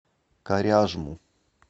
коряжму